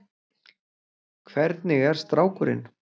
Hvernig er strákurinn?